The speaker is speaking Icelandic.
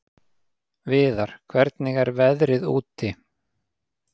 Viðar, hvernig er veðrið úti?